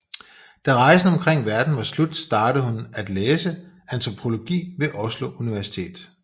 Da rejsen omkring verden var slut startede hun at læse antropologi ved Oslo Universitet